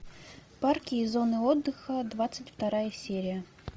парки и зоны отдыха двадцать вторая серия